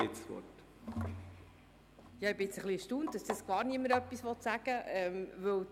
Ich bin etwas erstaunt, dass gar niemand etwas sagen will.